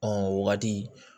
Ɔ o wagati